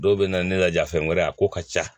Dɔw bɛ na ne laja fɛn wɛrɛ a ko ka ca